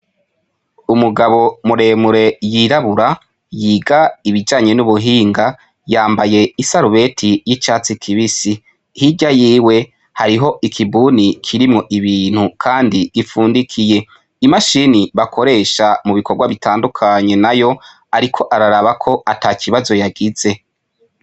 Umugabo muremure yirabura yiga ibjanye n'ubuhinga, yambaye isarubeti y'icatsi kibisi hirya yiwe hariho ikibuni kirimwo ibintu Kandi gifundikiye , imashini bakoresha mu bikorwa bitandukanye nayo ariko araraba ko atakibazo yagize.